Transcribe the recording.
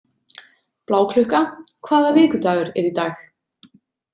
Bláklukka, hvaða vikudagur er í dag?